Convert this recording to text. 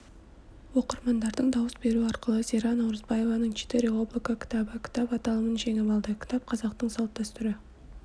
оқырмандардың дауыс беруі арқылы зира наурызбаеваның четыре облака кітабы кітап аталымын жеңіп алды кітап қазақтың салт-дәсүрі